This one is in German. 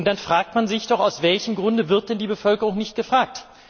Und dann fragt man sich doch Aus welchem Grund wird denn die Bevölkerung nicht gefragt?